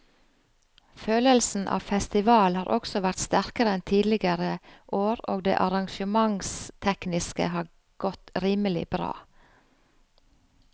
Følelsen av festival har også vært sterkere enn tidligere år og det arrangementstekniske har godt rimelig bra.